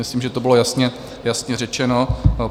Myslím, že to bylo jasně řečeno.